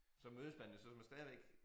Så mødes man jo så med stadigvæk